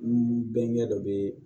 N bɛnkɛ dɔ bɛ